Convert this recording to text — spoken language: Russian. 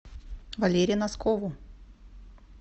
валере носкову